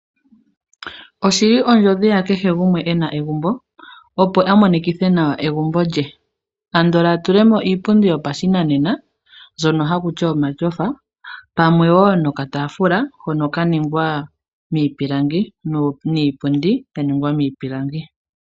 Oshili ondjodhi yakehe gumwe ena egumbo opo amonekithe nawa egumbo lye, andola atulemo iipundi yopashinanena mbyono hakuti omatyofa pamwe woo nokataafula hono kaningwa miipilangi niipundi yaningwa miipilangi.